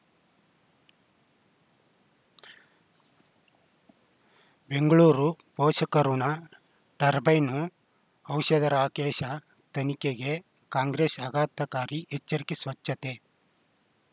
ಬೆಂಗಳೂರು ಪೋಷಕಋಣ ಟರ್ಬೈನು ಔಷಧ ರಾಕೇಶ ತನಿಖೆಗೆ ಕಾಂಗ್ರೆಸ್ ಆಘಾತಕಾರಿ ಎಚ್ಚರಿಕೆ ಸ್ವಚ್ಛತೆ